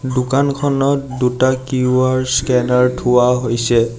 দোকানখনত দুটা QR scanner থোৱা হৈছে।